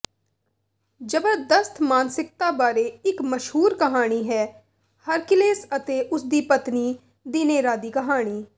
ਜਬਰਦਸਤ ਮਾਨਸਿਕਤਾ ਬਾਰੇ ਇੱਕ ਮਸ਼ਹੂਰ ਕਹਾਣੀ ਹੈ ਹਰਕਿਲੇਸ ਅਤੇ ਉਸਦੀ ਪਤਨੀ ਦੀਨਏਰਾ ਦੀ ਕਹਾਣੀ